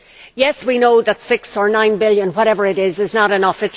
Yes, we know that six or nine billion whatever it is is not enough